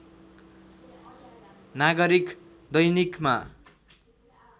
नागरिक दैनिकमा